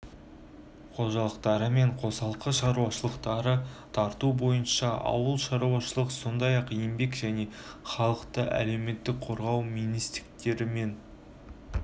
қожалықтары мен қосалқы шаруашылықтарды тарту бойынша ауылшаруашылық сондай-ақ еңбек және халықты әлеуметтік қорғау министрліктері мен